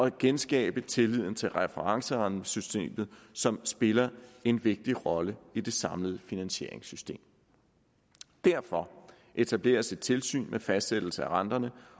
at genskabe tilliden til referencerentesystemet som spiller en vigtig rolle i det samlede finansieringssystem derfor etableres et tilsyn med fastsættelse af renterne